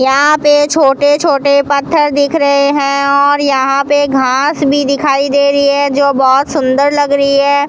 यहां पे छोटे छोटे पत्थर दिख रहे हैं और यहां पे घास भी दिखाई दे रही है जो बहुत सुंदर लग रही है।